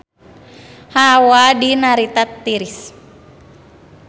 Hawa di Narita tiris